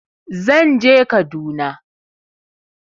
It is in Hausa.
Zan je Kaduna.